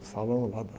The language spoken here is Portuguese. O salão lá da